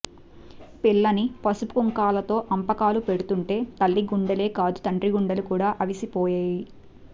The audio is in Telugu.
పిల్లని పసుపుకుంకాలతో అంపకాలు పెడుతుంటే తల్లిగుండెలే కాదు తండ్రిగుండెలు కూడా అవిసిపోయేయి